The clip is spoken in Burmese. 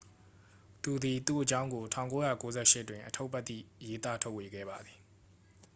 သူသည် သူ့အကြောင်းကို 1998 တွင် အတ္ထုပ္တိရေးသားထုတ်ဝေခဲ့ပါသည်